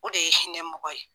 O de ye hinɛ mɔgɔ ye